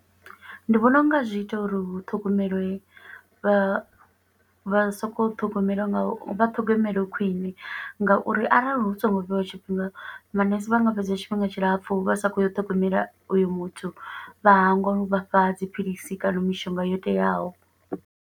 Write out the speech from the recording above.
Ndi vhona u nga zwi ita uri hu ṱhogomelwe vha, vha soko ṱhogomela nga u, vha ṱhogomelwe khwiṋe nga uri arali hu songo vheiwa tshifhinga, manese vha nga fhedza tshifhinga tshilapfu vha sa khou ya u ṱhogomela uyo muthu, vha hangwa u vha fha dziphilisi kana mishonga yo teaho.